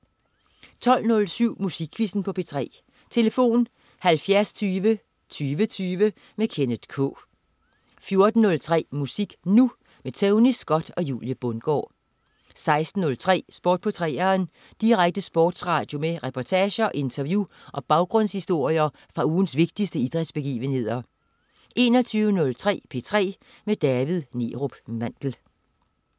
12.07 Musikquizzen på P3. Tlf.: 70 20 20 20. Kenneth K 14.03 Musik Nu! Tony Scott og Julie Bundgaard 16.03 Sport på 3'eren. Direkte sportsradio med reportager, interview og baggrundshistorier fra ugens vigtigste idrætsbegivenheder 21.03 P3 med David Neerup Mandel